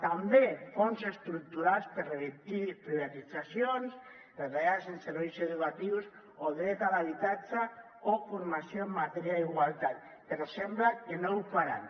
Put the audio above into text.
també fons estructurals per revertir privatitzacions retallades en serveis educatius o dret a l’habitatge o formació en matèria d’igualtat però sembla que no ho faran